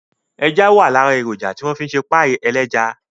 Ẹja wà lára èròjà tí wọ́n fi ń ṣe páì ẹlẹ́ja